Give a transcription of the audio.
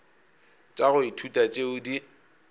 tša go ithuta tšeo di